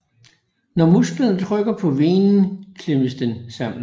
Når musklerne trykker på venen klemmes den sammen